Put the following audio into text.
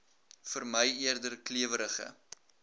vermy eerder klewerige